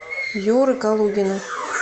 юры калугина